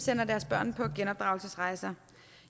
sender deres børn på genopdragelsesrejser